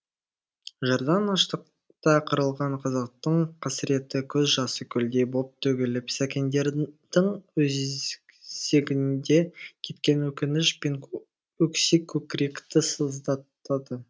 жырдан аштықта қырылған қазақтың қасіретті көз жасы көлдей боп төгіліп сәкендердің өзегінде кеткен өкініш пен өксік көкіректі сыздатады